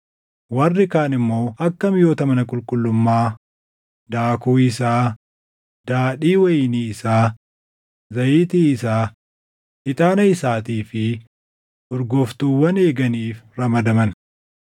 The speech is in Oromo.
Warri kaan immoo akka miʼoota mana qulqullummaa, daakuu isaa, daadhii wayinii isaa, zayitii isaa, ixaana isaatii fi urgooftuuwwan eeganiif ramadaman.